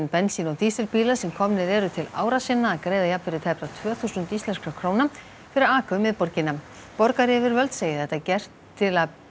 bensín og dísilbíla sem komnir eru til ára sinna að greiða jafnvirði tæpra tvö þúsund íslenskra króna fyrir að aka um miðborgina borgaryfirvöld segja þetta gert til að